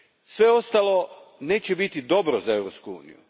Sve ostalo neće biti dobro za Europsku uniju.